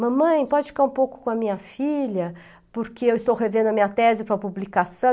Mamãe, pode ficar um pouco com a minha filha, porque eu estou revendo a minha tese para publicação.